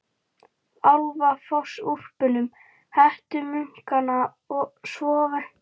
Álafossúlpunum, hettumunkana svonefndu, sem yrðlinga þeirra.